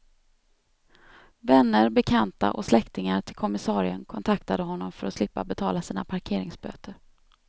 Vänner, bekanta och släktingar till kommissarien kontaktade honom för att slippa betala sina parkeringsböter.